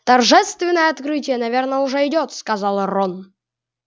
торжественное открытие наверное уже идёт сказал рон